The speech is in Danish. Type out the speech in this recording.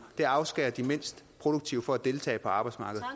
og det afskærer de mindst produktive fra at deltage på arbejdsmarkedet